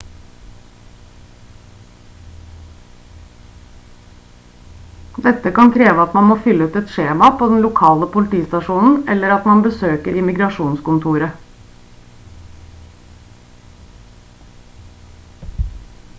dette kan kreve at man må fylle ut et skjema på den lokale politistasjonen eller at man besøker immigrasjonskontoret